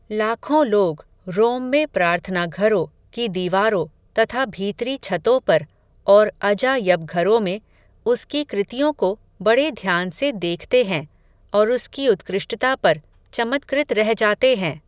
लाखों लोग, रोम में प्रार्थना घरो, की दीवारो, तथा भीतरी छतो पर, और अजा यबघरो में, उसकी कृतियो को, बड़े ध्यान से देखते हैं, और उसकी उत्कृष्टता पर, चमत्कृत रह जाते हैं